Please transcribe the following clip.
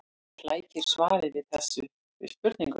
Það flækir svarið við þessari spurningu.